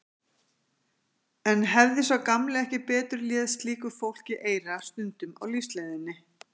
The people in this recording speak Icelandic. En hefði sá gamli ekki betur léð slíku fólki eyra stundum á lífsleiðinni?